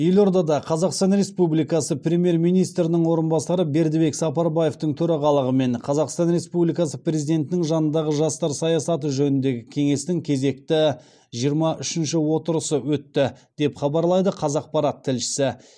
елордада қазақстан республикасы премьер министрінің орынбасары бердібек сапарбаевтың төрағалығымен қазақстан республикасы президентінің жанындағы жастар саясаты жөніндегі кеңестің кезекті жиырма үшінші отырысы өтті деп хабарлайды қазақпарат тілшісі